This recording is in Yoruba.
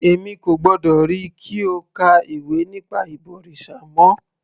Èmi kò gbọ́dọ̀ ríi kí o ka ìwé nípa ìbọ̀rìṣà mọ́